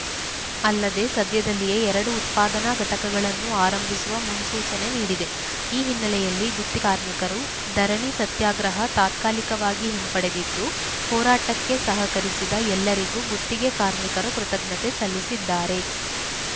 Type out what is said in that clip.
ಅಲ್ಲದೆ ಸದ್ಯದಲ್ಲಿಯೇ ಎರಡು ಉತ್ಪಾದನಾ ಘಟಕಗಳನ್ನು ಆರಂಭಿಸುವ ಮೂನ್ಸೂಚನೆ ನೀಡಿದೆ ಈ ಹಿನ್ನಲೆಯಲ್ಲಿ ಗುತ್ತಿ ಕಾರ್ಮಿಕರು ಧರಣಿ ಸತ್ಯಾಗ್ರಹ ತಾತ್ಕಾಲಿಕವಾಗಿ ಹಿಂಪಡೆದಿದ್ದು ಹೋರಾಟಕ್ಕೆ ಸಹಕರಿಸಿದ ಎಲ್ಲರಿಗೂ ಗುತ್ತಿಗೆ ಕಾರ್ಮಿಕರು ಕೃತಜ್ಞತೆ ಸಲ್ಲಿಸಿದ್ದಾರೆ